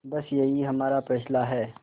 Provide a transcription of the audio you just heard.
बस यही हमारा फैसला है